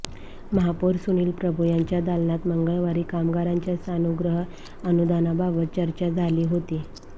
महापौर सुनील प्रभू यांच्या दालनात मंगळवारी कामगारांच्या सानुग्रह अनुदानाबाबत चर्चा झाली होती